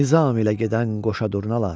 Nizam ilə gedən qoşa durnalar.